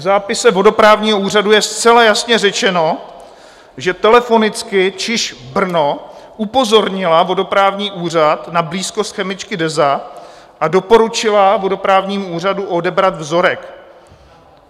V zápise vodoprávního úřadu je zcela jasně řečeno, že telefonicky ČIŽP Brno upozornila vodoprávní úřad na blízkost chemičky DEZA a doporučila vodoprávnímu úřadu odebrat vzorek.